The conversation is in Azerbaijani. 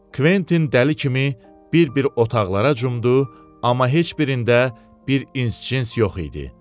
Kventin dəli kimi bir-bir otaqlara cumdu, amma heç birində bir ins-cins yox idi.